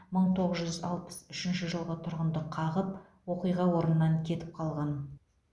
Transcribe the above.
мың тоғыз жүз алпыс үшінші жылғы тұрғынды қағып оқиға орнынан кетіп қалған